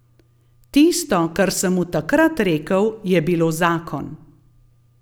Tisto, kar sem mu takrat rekel, je bilo zakon.